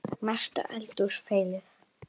Mesta eldhús feilið?